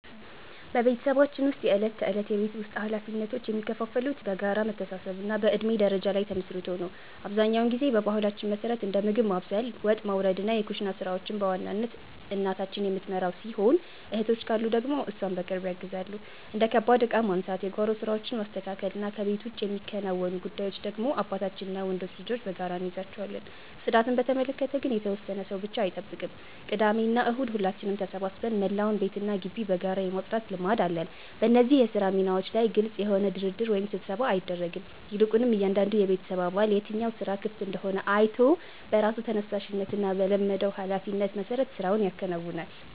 በቤተሰባችን ውስጥ የዕለት ተዕለት የቤት ውስጥ ኃላፊነቶች የሚከፋፈሉት በጋራ መተሳሰብና በእድሜ ደረጃ ላይ ተመስርቶ ነው። አብዛኛውን ጊዜ በባህላችን መሠረት እንደ ምግብ ማብሰል፣ ወጥ ማውረድና የኩሽና ሥራዎችን በዋናነት እናታችን የምትመራው ሲሆን፣ እህቶች ካሉ ደግሞ እሷን በቅርብ ያግዛሉ። እንደ ከባድ ዕቃ ማንሳት፣ የጓሮ ሥራዎችን ማስተካከልና ከቤት ውጭ የሚከናወኑ ጉዳዮችን ደግሞ አባታችንና ወንዶች ልጆች በጋራ እንይዛቸዋለን። ጽዳትን በተመለከተ ግን የተወሰነ ሰው ብቻ አይጠብቅም፤ ቅዳሜና እሁድ ሁላችንም ተሰባስበን መላውን ቤትና ግቢ በጋራ የማጽዳት ልማድ አለን። በእነዚህ የሥራ ሚናዎች ላይ ግልጽ የሆነ ድርድር ወይም ስብሰባ አይደረግም፤ ይልቁንም እያንዳንዱ የቤተሰብ አባል የትኛው ሥራ ክፍት እንደሆነ አይቶ በራሱ ተነሳሽነትና በለመደው ኃላፊነት መሠረት ሥራውን ያከናውናል።